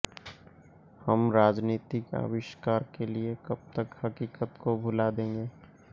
हम राजनीतिक आविष्कार के लिए कब तक हकीकत को भुला देंगे